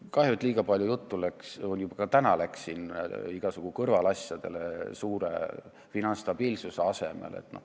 Kahju, et liiga palju juttu läks ka täna igasugu kõrvaliste asjade peale, selle asemel et arutada üldist finantsstabiilsust.